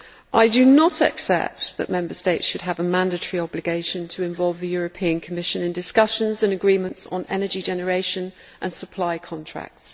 I do not accept that Member States should have a mandatory obligation to involve the European Commission in discussions and agreements on energy generation and supply contracts.